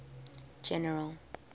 general